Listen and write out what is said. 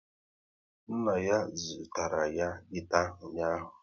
Nna ya zụtara ya gita ụnyaahụ